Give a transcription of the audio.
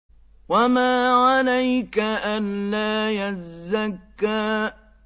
وَمَا عَلَيْكَ أَلَّا يَزَّكَّىٰ